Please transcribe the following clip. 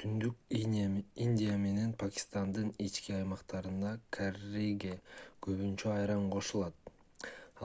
түндүк индия менен пакистандын ички аймактарында карриге көбүнчө айран кошулат